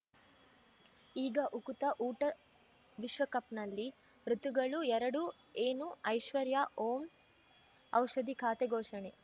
ಈಗ ಉಕುತ ಊಟ ವಿಶ್ವಕಪ್‌ನಲ್ಲಿ ಋತುಗಳು ಎರಡು ಏನು ಐಶ್ವರ್ಯಾ ಓಂ ಔಷಧಿ ಖಾತೆ ಘೋಷಣೆ